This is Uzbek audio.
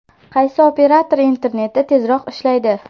Qaysi operator interneti tezroq ishlaydi?.